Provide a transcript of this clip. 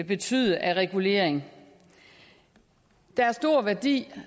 betyde af regulering der er stor værdi